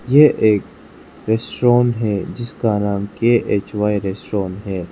ये एक रेस्टोरेंट है जिसका नाम के_एच_वाई रेस्टोरेंट है।